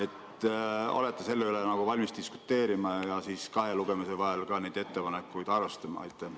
Kas olete selle üle valmis diskuteerima ja kahe lugemise vahel neid ettepanekuid arvestama?